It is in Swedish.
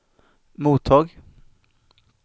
mottag